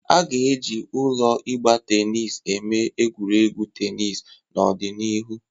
A ga-eji ụlọ ịgba tenis eme egwuregwu tenis n'ọdịnihu.